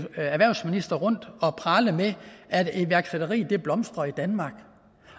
erhvervsministre tage rundt og prale med at iværksætteriet blomstrer i danmark